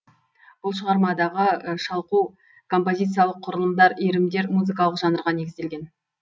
бұл шығармадағы шалқу композициялық құрылымдар иірімдер музыкалық жанрға негізделген